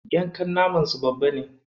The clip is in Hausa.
Yankan naman su babba ne.